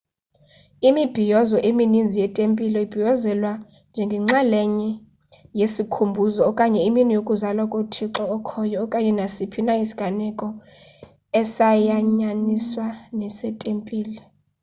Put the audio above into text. imibhiyozo eminizni yetempile ibhiyozelwa njengenxalenye yesikhumbuzo okanye imini yokuzalwa kothixo okhoyo okanye nasiphi na isiganeko esayanyaniswa netempile